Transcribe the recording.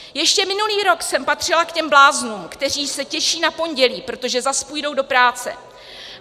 Ještě minulý rok jsem patřila k těm bláznům, kteří se těší na pondělí, protože zas půjdou do práce.